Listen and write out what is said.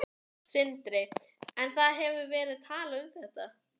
Sindri: En það hefur verið talað um þetta?